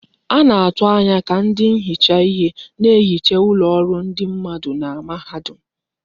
A ga na-atụ anya ka ndị nhicha ihe na-ehicha ụlọ ọrụ ndị mmadụ na mahadum.